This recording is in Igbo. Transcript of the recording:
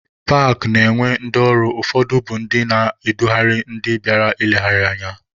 Paakị na-enwe ndị ọrụ, ụfọdụ bụ ndị na-edugharị ndị bịara nlegharị anya.